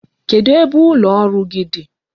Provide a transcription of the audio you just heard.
Kedu ebe ụlọ ọrụ gị dị?